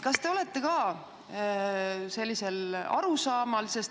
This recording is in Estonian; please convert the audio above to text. Kas te olete ka sellisel arusaamal?